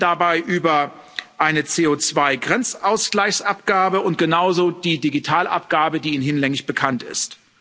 Wir sprechen dabei über eine CO2 Grenzausgleichsabgabe und genauso über die Digitalabgabe, die Ihnen hinlänglich bekannt ist.